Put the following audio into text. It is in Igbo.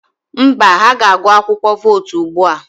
Mba, ha ga-agụ akwụkwọ vootu ugbu a.